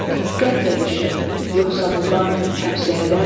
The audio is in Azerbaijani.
Diqqətlə düşün, yoxsa bu qan həbsi hədərmi?